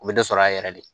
U bɛ dɔ sɔrɔ a yɛrɛ de